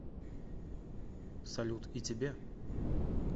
салют и тебе